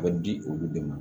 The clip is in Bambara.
A bɛ di olu de ma